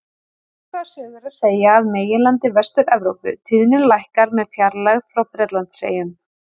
Svipaða sögu er að segja af meginlandi Vestur-Evrópu, tíðnin lækkar með fjarlægð frá Bretlandseyjum.